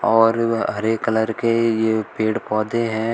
और हरे कलर के ये पेड़ पौधे हैं।